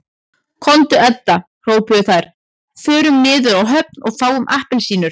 Komdu Edda hrópuðu þær, förum niður á höfn og fáum APPELSÍNUR